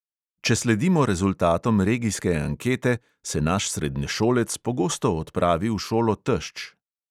Če sledimo rezultatom regijske ankete, se naš srednješolec pogosto odpravi v šolo tešč.